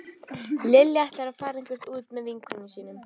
Lilja ætlar að fara eitthvert út með vinkonum sínum